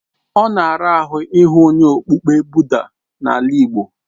Ọ na ara ahụ ị hụ onye okpukpe Buda n'ala igbo.